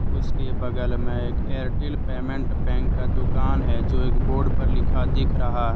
उसके बगल में एक एयरटेल पेमेंट बैंक का दुकान है जो एक बोर्ड पर लिखा दिख रहा है।